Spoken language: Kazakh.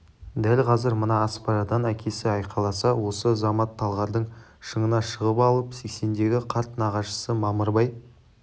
дәл қазір мына аспарадан әкесі айқайласа осы замат талғардың шыңына шығып алып сексендегі қарт нағашысы мамырбай